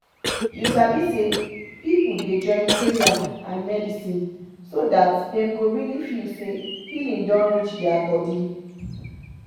you sabi say people dey join prayer and medicine so that dem go really feel say healing don reach their body.